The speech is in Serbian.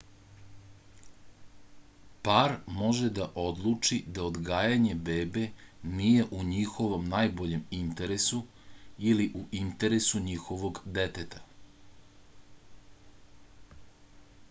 par može da odluči da odgajanje bebe nije u njihovom najboljem interesu ili u interesu njihovog deteta